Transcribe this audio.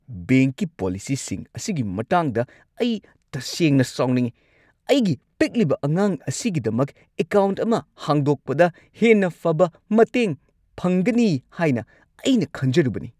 ꯕꯦꯡꯛꯀꯤ ꯄꯣꯂꯤꯁꯤꯁꯤꯡ ꯑꯁꯤꯒꯤ ꯃꯇꯥꯡꯗ ꯑꯩ ꯇꯁꯦꯡꯅ ꯁꯥꯎꯅꯤꯡꯉꯤ ꯫ ꯑꯩꯒꯤ ꯄꯤꯛꯂꯤꯕ ꯑꯉꯥꯡ ꯑꯁꯤꯒꯤꯗꯃꯛ ꯑꯦꯀꯥꯎꯟꯠ ꯑꯃ ꯍꯥꯡꯗꯣꯛꯄꯗ ꯍꯦꯟꯅ ꯐꯕ ꯃꯇꯦꯡ ꯐꯪꯒꯅꯤ ꯍꯥꯏꯅ ꯑꯩꯅ ꯈꯟꯖꯔꯨꯕꯅꯤ ꯫